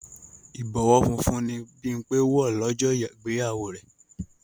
Ìbọwọ́ funfun ni Bímpé wọ̀ lọ́jọ́ ìgbéyàwó rẹ̀